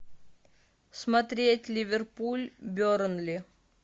смотреть ливерпуль бернли